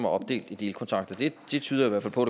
opdelt i delkontrakter det tyder i hvert fald på